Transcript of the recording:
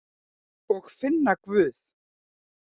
Og finna Guð.